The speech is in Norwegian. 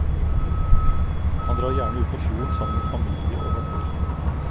Han drar gjerne ut på fjorden sammen med familie og venner.